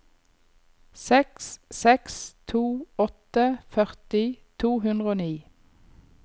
seks seks to åtte førti to hundre og ni